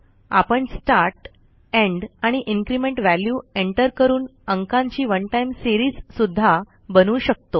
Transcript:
आपण start end आणि increment value enter करून अंकांची ओने टाइम सीरीज सुध्दा बनवू शकतो